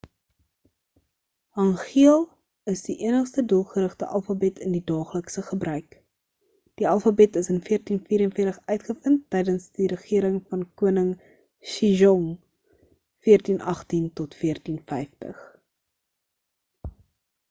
hangeul is die enigste doelgerigte alfabet in die daaglikse gebruik. die alfabet is in 1444 uitgevind tydens die regering van koning sejong 1418 - 1450